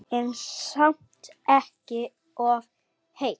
En samt ekki of heitt.